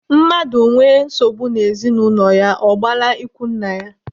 Mmadụ nwee nsogbu n'ezinụlọ ya, ọ gbala ikwu nne ya.